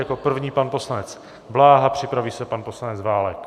Jako první pan poslanec Bláha, připraví se pan poslanec Válek.